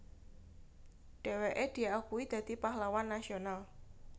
Dheweke diakui dadi Pahlawan Nasional